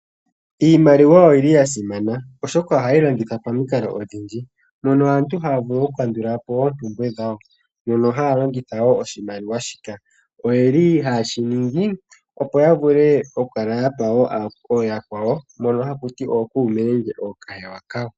Iimaliwa oyi li ya simana, oshoka ohayi longithwa momikalo odhindji, mono aantu haya vulu okukandulapo oompumbwe dhawo, mono haya longitha wo oshimaliwa shika. Oye li haye shiningi, opo yavule okukala ya pa wo ooyakwawo, mbono hakuti ookuume nenge ookahewa.